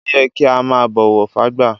Ọ́ yẹ kí a máa bọ́wọ̀ fágbà.